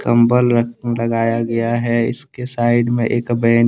कंबल अह लगाया गया है इसके साइड में एक बेंच